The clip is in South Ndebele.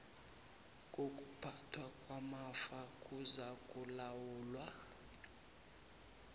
kokuphathwa kwamafa kuzakulawulwa